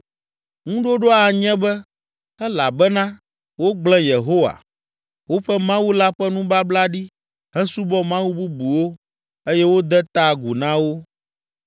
Ŋuɖoɖoa anye be, ‘Elabena wogblẽ Yehowa, woƒe Mawu la ƒe nubabla ɖi hesubɔ mawu bubuwo eye wode ta agu na wo.’ ”